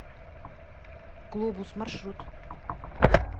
глобус маршрут